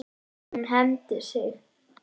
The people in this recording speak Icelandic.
Hún hefði hengt sig.